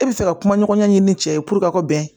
E bɛ fɛ ka kuma ɲɔgɔnya ɲini ni cɛ ye ka bɛn